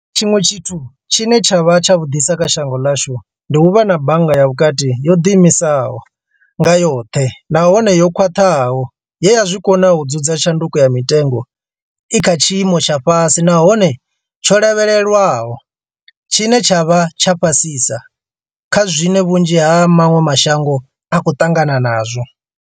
Tshiṅwe tshithu tshine tsha vha tshavhuḓisa kha shango ḽashu, ndi u vha na Bannga ya Vhukati yo ḓiimisaho nga yoṱhe nahone yo khwaṱhaho ye ya zwi kona u dzudza tshanduko ya mitengo i kha tshiimo tsha fhasi nahone tsho lavhelelwaho, tshine tsha vha fhasisa kha zwine vhunzhi ha maṅwe mashango a khou ṱangana nazwo.